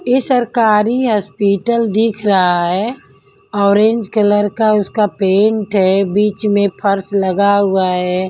ये सरकारी हॉस्पिटल दिख रहा है ऑरेंज कलर का उसका पेंट है बीच में फर्स लगा हुआ है।